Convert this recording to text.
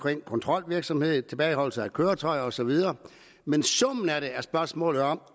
kontrolvirksomhed tilbageholdelse af køretøjer og så videre men summen af det er spørgsmålet om